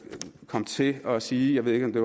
kom til at sige jeg ved ikke om det